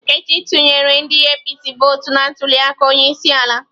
Nkechi tụnyere ndi APC votụ na ntuliaka onyeisiala.